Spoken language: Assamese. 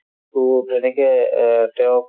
to তেনেকে এহ্ তেওঁক